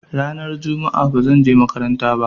Ranar juma'a ba zan je makaranta ba.